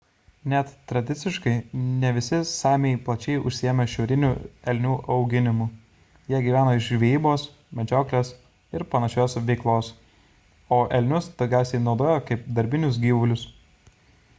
net tradiciškai ne visi samiai plačiai užsiėmė šiaurinių elnių auginimu – jie gyveno iš žvejybos medžioklės ir panašios veiklos o elnius daugiausiai naudojo kaip darbinius gyvulius